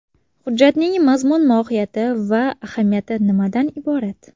Hujjatning mazmun-mohiyati va ahamiyati nimadan iborat?